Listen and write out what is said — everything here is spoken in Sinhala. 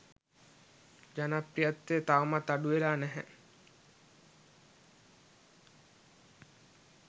ජනප්‍රියත්වය තවමත් අඩුවෙලා නැහැ.